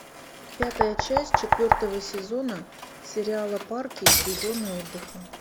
пятая часть четвертого сезона сериала парки и зоны отдыха